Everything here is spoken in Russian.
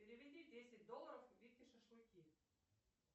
переведи десять долларов вике шашлыки